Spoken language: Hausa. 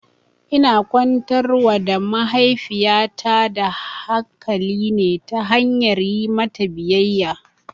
Ina kwantar wa da mahaifiyata da hakali ne ta hanyar yi mata biyayya